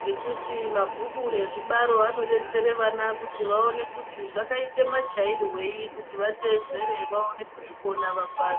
ngekuti mabhuku ezvibaro anodetsere vana kuti vaone kuti zvakaite machairwei kuti vateedzera vaone kuzvikona vapase.